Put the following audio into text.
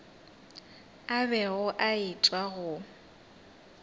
a bego a etšwa go